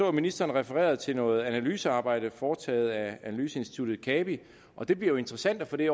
at ministeren refererede til noget analysearbejde foretaget af analyseinstituttet cabi og det bliver jo interessant at få det